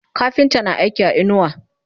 kafinta na aiki a inuwa